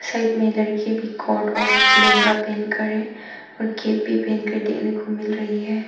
Side में लड़की भी कोट और लहंगा पहनकर है और कैप भी पहनकर देखने को मिल रही है।